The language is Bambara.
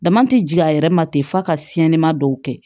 Dama tɛ jigin a yɛrɛ ma ten f'a ka siɲɛma dɔw kɛ